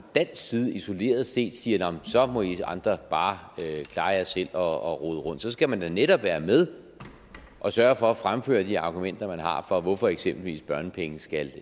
dansk side isoleret set siger så må i andre bare klare jer selv og rode rundt så skal man jo netop være med og sørge for at fremføre de argumenter man har for hvorfor eksempelvis børnepenge skal